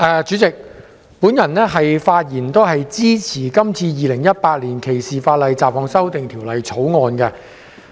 主席，我發言支持《2018年歧視法例條例草案》。